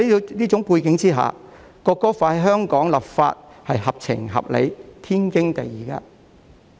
在這個背景下，香港就《國歌法》立法是合情合理，天經地義的。